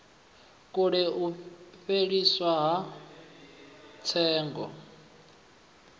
kule u fheliswa ha tsengo